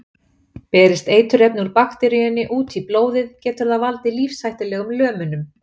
Berist eiturefni frá bakteríunni út í blóðið getur það valdið lífshættulegum lömunum.